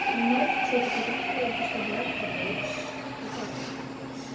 а мне вот кстати потом сказали то что драг это вейп вот так вот